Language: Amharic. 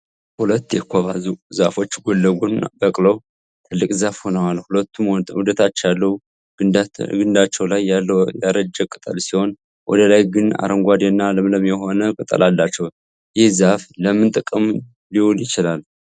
ሁለት የኮባ ዛፎች ጎን ለጎን በቅለው ትልቅ ዛፍ ሆነዋል። ሁለቱም ወደታች ያለው ግንዳቸው ላይ ያለው ያረጀ ቅጠል ሲሆን ወደ ላይ ግን አረንጓዴ እና ለምለም የሆነ ቅጠል አላቸው። ይህ ዛፍ ለምን ጥቅም ሊውል ይችላል?